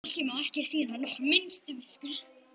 Þessu fólki má ekki sýna nokkra minnstu miskunn!